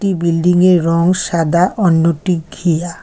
Building -এর রঙ সাদা অন্যটি ঘিয়া।